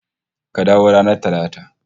Ka dawo ranar Talata